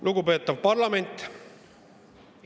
Lugupeetav parlament!